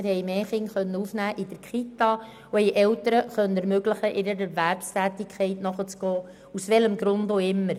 Wir konnten mehr Kinder in der Kita aufnehmen und ihren Eltern ermöglichen, einer Erwerbstätigkeit nachzugehen, aus welchem Grund auch immer.